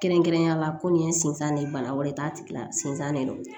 Kɛrɛnkɛrɛnnenya la ko nin ye n sinzan de ye bana wɛrɛ ye t'a tigi la sinzan de don